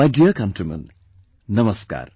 My dear countrymen, Namaskar